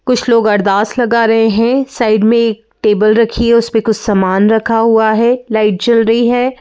कुछ लोग अरदास लगा रहे है साइड मे एक टेबल रखी है उसपे कुछ समान रखा हुआ है लाइट जल रही है।